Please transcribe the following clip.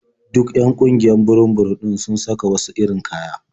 Duk 'yan ƙungiyar burum-burum ɗin sun saka wasu irin kaya.